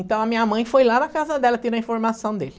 Então a minha mãe foi lá na casa dela ter a informação dele.